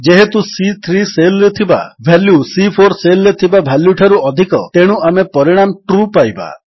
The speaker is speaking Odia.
ଯେହେତୁ ସି3 ସେଲ୍ ରେ ଥିବା ଭାଲ୍ୟୁ ସି4 ସେଲ୍ ରେ ଥିବା ଭାଲ୍ୟୁଠାରୁ ଅଧିକ ତେଣୁ ଆମେ ପରିଣାମ ଟ୍ରୁ ପାଇବା